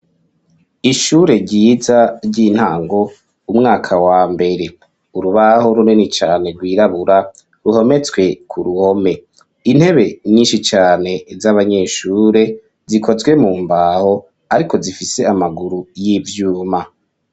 Ishure ryiza ry'intango umwaka wa mbere urubaho runini cane rwirabura ruhometswe ku ruhome intebe nyinshi cane z'abanyeshure zikozwe mu mbaho ariko zifise amaguru y'ivyuma.